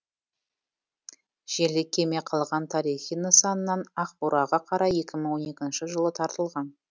желі кеме қалған тарихи нысанынан ақбураға қарай екі мың он екінші жылы тартылған